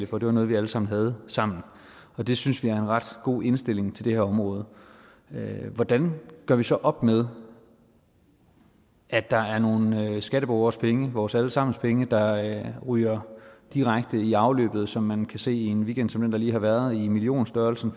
for det var noget vi alle sammen havde sammen det synes vi er en ret god indstilling til det her område hvordan gør vi så op med at der er nogle skatteborgeres penge vores alle sammens penge der ryger direkte i afløbet som man kan se i en weekend som den der lige har været i millionstørrelsen